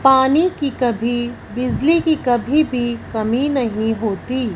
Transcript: पानी की कभी बिजली की कभी भी कमी नहीं होती।